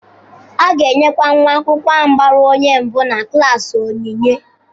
A ga-enyekwa nwa akwụkwọ ahụ gbara onye mbụ na klaasị onyinye.